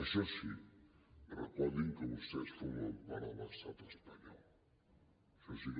això sí recordin que vostès formen part de l’estat espanyol això sí que